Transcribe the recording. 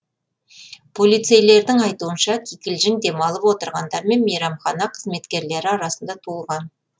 полицейлердің айтуынша кикілжің демалып отырғандар мен мейрамхана қызметкерлері арасында туындаған